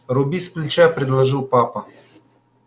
руби сплеча предложил папа